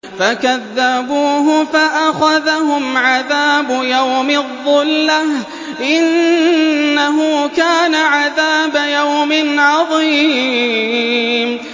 فَكَذَّبُوهُ فَأَخَذَهُمْ عَذَابُ يَوْمِ الظُّلَّةِ ۚ إِنَّهُ كَانَ عَذَابَ يَوْمٍ عَظِيمٍ